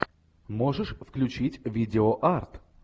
можешь включить видео арт